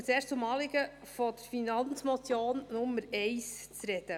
Ich komme zuerst auf das Anliegen Nummer eins der Finanzmotion zu sprechen.